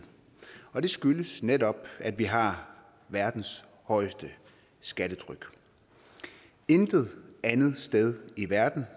og det skyldes netop at vi har verdens højeste skattetryk intet andet sted i verden